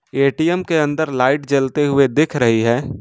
ATM के अंदर light जलते हुए दिख रही है।